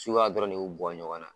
dɔrɔn de y'u bɔ ɲɔgɔn na.